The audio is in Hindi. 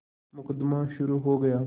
मुकदमा शुरु हो गया